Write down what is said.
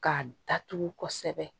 K'a datugu kosɛbɛ